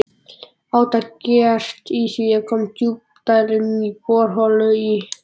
Átak gert í því að koma djúpdælum í borholur í